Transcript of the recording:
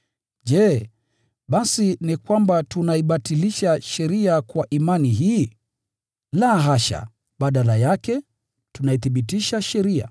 Je, basi ni kwamba tunaibatilisha sheria kwa imani hii? La, hasha! Badala yake tunaithibitisha sheria.